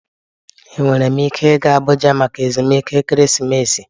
Enwere m ike ịga Abuja maka ezumike ekeresimesi.